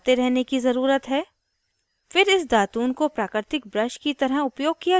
प्राकृतिक विकल्प miswak miswak दातून है जो peelu पेड़ की टहनी से बनती है